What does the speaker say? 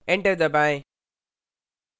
enter दबाएँ